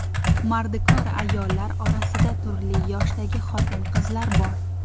Mardikor ayollar orasida turli yoshdagi xotin-qizlar bor.